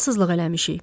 Ağılsızlıq eləmişik.